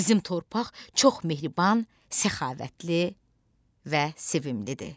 Bizim torpaq çox mehriban, səxavətli və sevimlidir.